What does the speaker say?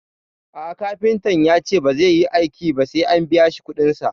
A'a kafintan yace bazai yi aiki ba sai an biyashi kuɗin sa